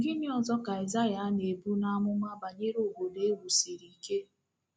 Gịnị ọzọ ka aịsaịa na-ebu n’amụma banyere obodo e wusiri ike?